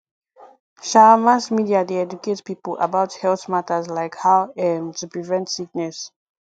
um mass media dey educate people about health matters like how um to prevent sickness